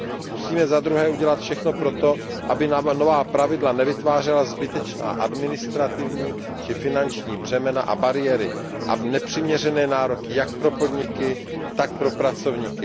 Musíme zadruhé udělat všechno proto, aby nám nová pravidla nevytvářela zbytečná administrativní či finanční břemena a bariéry a nepřiměřené nároky jak pro podniky, tak pro pracovníky.